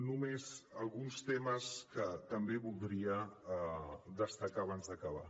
només alguns temes que també voldria destacar abans d’acabar